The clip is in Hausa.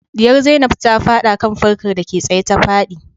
Diyar zainab ta fada kan fankar dake tsaye ta fadi